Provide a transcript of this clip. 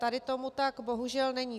Tady tomu tak bohužel není.